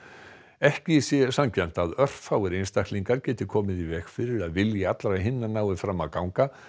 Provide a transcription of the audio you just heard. ekki sé sanngjarnt að örfáir einstaklingar geti komið í veg fyrir að vilji allra hinna nái fram að ganga